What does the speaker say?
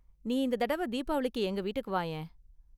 நீ இந்த தடவ தீபாவளிக்கு எங்க வீட்டுக்கு வாயேன்.